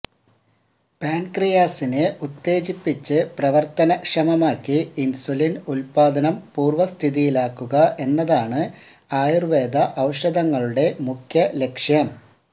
പാന്ക്രിയാസിനെ ഉത്തേജിപ്പിച്ച് പ്രവര്ത്തനക്ഷമമാക്കി ഇന്സുലിന് ഉല്പാദനം പൂര്വസ്ഥിതിയിലാക്കുക എന്നതാണ് ആയുര്വേദ ഔഷധങ്ങളുടെ മുഖ്യ ലക്ഷ്യം